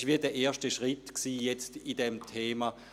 Dies war wie der erste Schritt in diesem Thema.